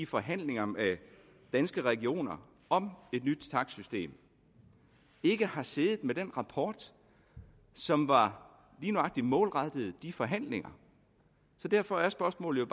forhandlinger med danske regioner om et nyt takstsystem ikke har siddet med den rapport som var lige nøjagtig målrettet de forhandlinger så derfor er spørgsmålet